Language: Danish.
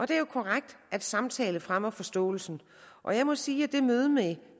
det er jo korrekt at samtale fremmer forståelsen og jeg må sige at det møde med